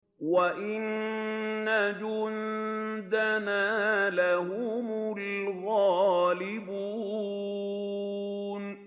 وَإِنَّ جُندَنَا لَهُمُ الْغَالِبُونَ